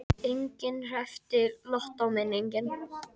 Enginn hreppti lottóvinning